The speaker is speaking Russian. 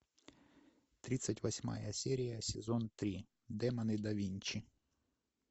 тридцать восьмая серия сезон три демоны да винчи